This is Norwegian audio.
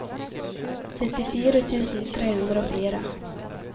syttifire tusen tre hundre og fire